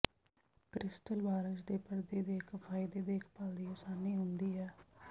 crystal ਬਾਰਸ਼ ਦੇ ਪਰਦੇ ਦੇ ਇੱਕ ਫਾਇਦੇ ਦੇਖਭਾਲ ਦੀ ਆਸਾਨੀ ਹੁੰਦੀ ਹੈ